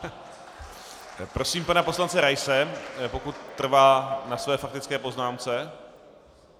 Prosím pana poslance Raise, pokud trvá na své faktické poznámce.